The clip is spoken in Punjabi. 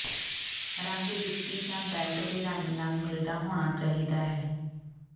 ਰੰਗ ਜੁੱਤੀ ਜਾਂ ਬੈਲਟ ਦੇ ਰੰਗ ਨਾਲ ਮਿਲਦਾ ਹੋਣਾ ਚਾਹੀਦਾ ਹੈ